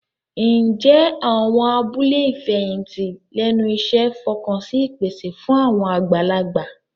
Ǹjẹ́ àwọn abúlé ìfẹ̀yìntì lẹ́nu iṣẹ́ fọkàn sí ìpèsè fún àwọn àgbàlagbà?